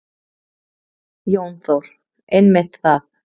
Jón Þór: Einmitt það.